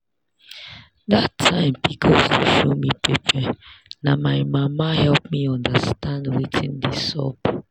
that time pcos dey show me pepper na my mama help me understand wetin dey sup.